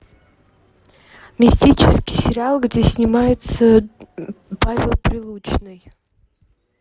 мистический сериал где снимается павел прилучный